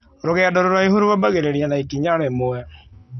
Rũgendo rũraihu rũambagĩrĩria na ikinya rĩmwe.